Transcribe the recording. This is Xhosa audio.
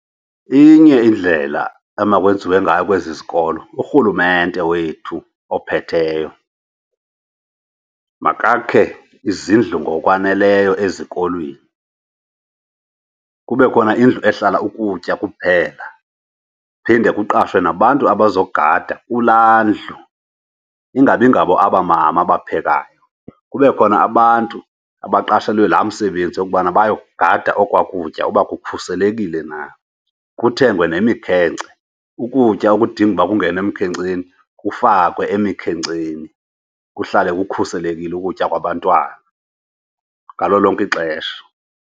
Inye indlela emakwenziwe ngayo kwezi zikolo, urhulumente wethu ophetheyo makakhe izindlu ngokwaneleyo ezikolweni, kube khona indlu ehlala ukutya kuphela. Phinde kuqashwe nabantu abazobagada kulaa ndlu, ingabi ngabo aba mama baphekayo. Kube khona abantu abaqashelwe laa msebenzi yokubana bayogada okwaa kutya uba kukhuselekile na. Kuthengwe nemikhence, ukutya okudinga ukungena emikhenkceni kufakwe emikhenkceni, kuhlale kukhuselekile ukutya kwabantwana ngalo lonke ixesha.